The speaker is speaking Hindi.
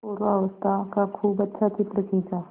पूर्वावस्था का खूब अच्छा चित्र खींचा